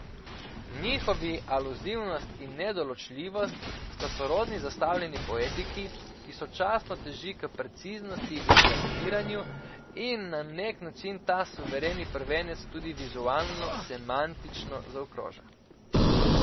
Njihovi aluzivnost in nedoločljivost sta sorodni zastavljeni poetiki, ki sočasno teži k preciznosti in razpiranju, in na nek način ta suvereni prvenec tudi vizualno semantično zaokroža.